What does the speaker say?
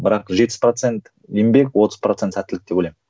бірақ жетпіс процент еңбек отыз процент сәттілік деп ойлаймын